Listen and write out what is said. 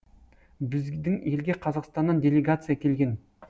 біздің елге қазақстаннан делегация келген